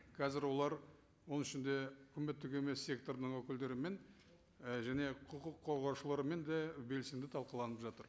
қазір олар оның ішінде үкіметтік емес секторының өкілдерімен ы және құқық қорғаушылармен де белсенді талқыланып жатыр